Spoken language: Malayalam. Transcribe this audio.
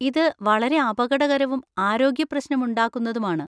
ഇത് വളരെ അപകടകരവും ആരോഗ്യ പ്രശനം ഉണ്ടാകുന്നതും ആണ്.